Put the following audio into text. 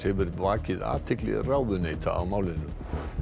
hefur vakið athygli ráðuneyta á málinu